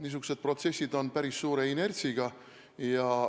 Niisugused protsessid on päris suure inertsiga.